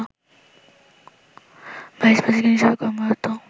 vice president হিসেবে কর্মরত